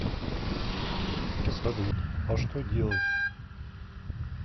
салют а что делать